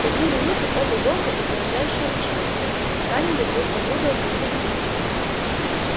в такие минуты оба волка угрожающе рычали и скалили друг на друга зубы